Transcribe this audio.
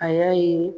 A y'a ye